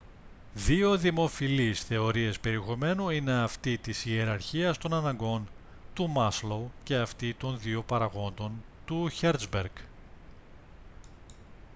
δύο δημοφιλείς θεωρίες περιεχομένου είναι αυτή της ιεραρχίας των αναγκών του μάσλοου και αυτή των δύο παραγόντων του χέρτζμπεργκ